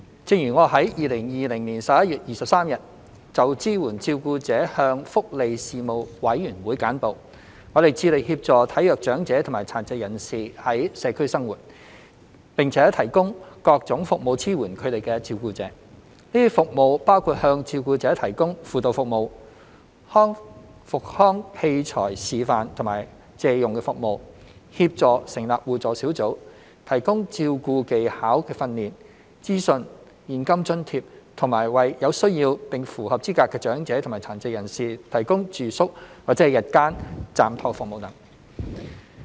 正如我在2020年11月23日就支援照顧者向福利事務委員會簡報，我們致力協助體弱長者及殘疾人士在社區生活，並提供各種服務支援他們的照顧者。這些服務包括向照顧者提供輔導服務、復康器材示範和借用服務、協助成立互助小組、提供照顧技巧訓練、資訊、現金津貼及為有需要並符合資格的長者及殘疾人士提供住宿或日間暫託服務等。